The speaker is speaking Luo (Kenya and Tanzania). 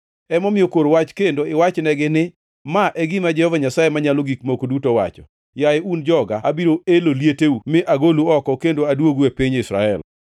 Emomiyo kor wach kendo iwachnegi ni: ‘Ma e gima Jehova Nyasaye Manyalo Gik Moko Duto wacho: Yaye un joga, abiro elo lieteu mi agolu oko kendo aduogu e piny Israel.